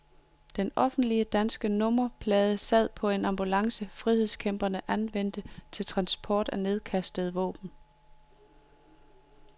Den officielle danske nummerplade sad på en ambulance, frihedskæmperne anvendte til transport af nedkastede våben.